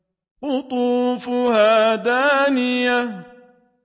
قُطُوفُهَا دَانِيَةٌ